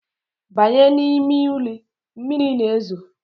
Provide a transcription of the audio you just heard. Banye! ni ime uli, mmiri na ezo